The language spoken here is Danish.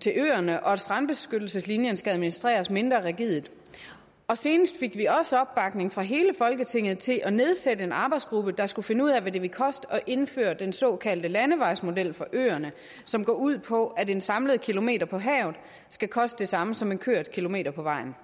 til øerne og at strandbeskyttelseslinjen skal administreres mindre rigidt og senest fik vi også opbakning fra hele folketinget til at nedsætte en arbejdsgruppe der skal finde ud af hvad det vil koste at indføre den såkaldte landevejsmodel for øerne som går ud på at en samlet kilometer på havet skal koste det samme som en kørt kilometer på vejen